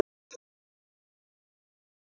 Þú stendur þig vel, Salín!